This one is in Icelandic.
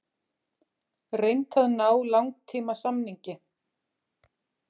Reynt að ná langtímasamningi